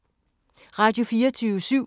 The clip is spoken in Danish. Radio24syv